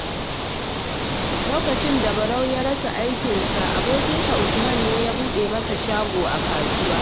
Lokacin da Barau ya rasa aikinsa, abokinsa Usman ne ya buɗe masa shago a kasuwa.